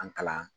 An kalan